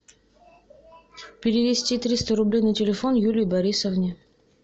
перевести триста рублей на телефон юлии борисовне